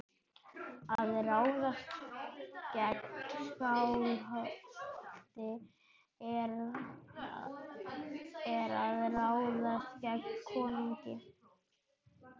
Að ráðast gegn Skálholti er að ráðast gegn konungi.